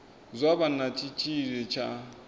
zwa vha na tshitshili tsha